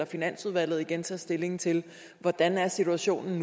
finansudvalget igen tage stilling til hvordan situationen